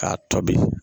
K'a tobi